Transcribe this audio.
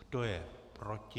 Kdo je proti?